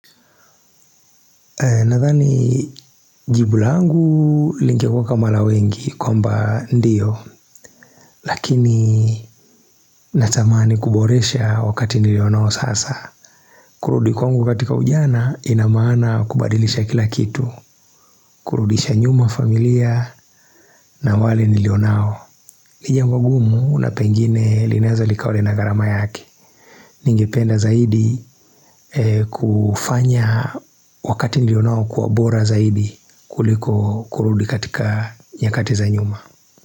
Nathani jibu langu lingekuwa kama la wengi kwamba ndio Lakini natamani kuboresha wakati nilionao sasa kurudi kwangu katika ujana inamaana kubadilisha kila kitu kurudisha nyuma familia na wale nilionao nijambo gumu na pengine linaweza likawa na gharama yake Ningependa zaidi kufanya wakati nilionao kuwa bora zaidi kuliko kurudi katika nyakati za nyuma.